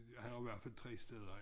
Har har jo i hvert fald 3 steder